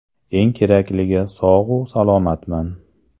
Eng kerakligi sog‘-u salomatman.